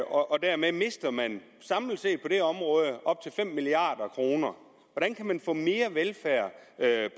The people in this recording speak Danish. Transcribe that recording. og dermed mister man samlet set på det område op til fem milliard kroner hvordan kan man få mere velfærd